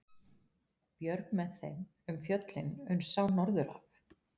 Björg með þeim um fjöllin uns sá norður af.